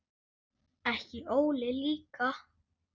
Ekki Óli líka.